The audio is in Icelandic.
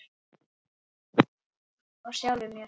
Og sjálfum mér.